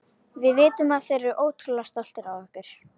Við vitum að þeir eru ótrúlega stoltir af okkur.